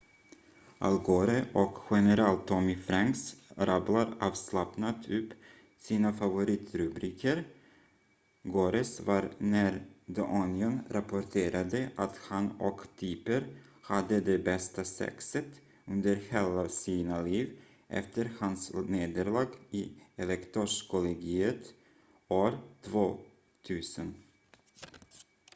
al gore och general tommy franks rabblar avslappnat upp sina favoritrubriker gores var när the onion rapporterade att han och tipper hade det bästa sexet under hela sina liv efter hans nederlag i elektorskollegiet år 2000